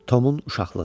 Tomun uşaqlığı.